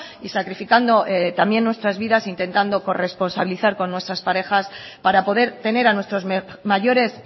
y sacrificando también nuestras vidas intentando corresponsabilizar con nuestras parejas para poder tener a nuestros mayores